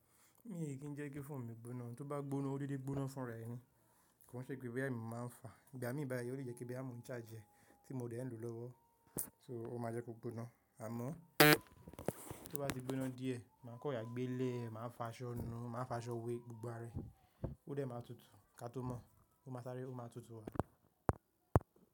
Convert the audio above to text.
Mi ò jẹ kí ń jẹ́ kí foonu mi gbóná, tó bá gbóná ó dédé gbóná fún rẹ̀ ni. Kò n ṣe pé bí èmi máa ń fà, ìgbà mí bá yá, ó lè jẹ́ kí bí à mún chàrge ẹ́ tí mo dẹ̀ ń lo lọ́wọ́, so ó máa jẹ́ kó gbóná. Àmọ́ tó bá ti gbóná díẹ̀, màá kan rora gbé léèé, màá fàṣọ nu, màá fàṣọ wé gbogbo ara e, ó dẹ̀ máa tutù. Ka tó mọ̀, ó máa sáré, ó máa tutù wá.